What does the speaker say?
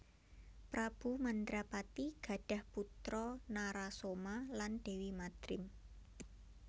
Prabu Mandrapati gadhah putra Narasoma lan Déwi Madrim